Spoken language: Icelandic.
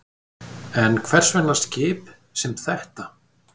En hvers vegna skip sem þetta?